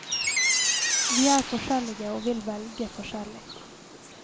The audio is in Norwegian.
Vi er forskjellige og vil velge forskjellig.